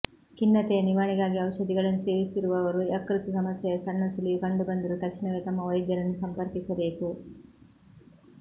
ಖಿನ್ನತೆಯ ನಿವಾರಣೆಗಾಗಿ ಔಷಧಿಗಳನ್ನು ಸೇವಿಸುತ್ತಿರುವವರು ಯಕೃತ್ ಸಮಸ್ಯೆಯ ಸಣ್ಣ ಸುಳಿವು ಕಂಡುಬಂದರೂ ತಕ್ಷಣವೇ ತಮ್ಮ ವೈದ್ಯರನ್ನು ಸಂಪರ್ಕಿಸಬೇಕು